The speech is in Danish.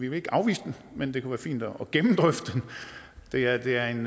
jo ikke afvisende men det kunne være fint at gennemdrøfte den det er en